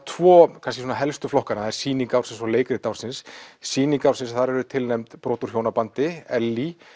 tvö helstu flokkana það eru sýning ársins og leikrit ársins sýning ársins þar eru tilnefnd brot úr hjónabandi Ellý